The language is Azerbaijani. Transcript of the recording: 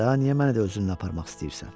Daha niyə məni də özünlə aparmaq istəyirsən?